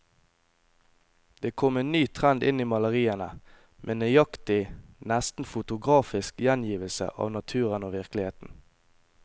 Det kom en ny trend inn i maleriene, med nøyaktig, nesten fotografisk gjengivelse av naturen og virkeligheten.